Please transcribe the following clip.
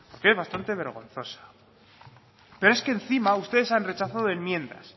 que es bastante vergonzosa pero es que encima ustedes han rechazado enmiendas